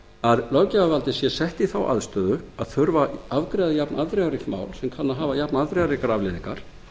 að löggjafarvaldið sé sett í þá aðstöðu að þurfa að afgreiða jafnafdrifaríkt mál sem kann að hafa jafnafdrifaríkar afleiðingar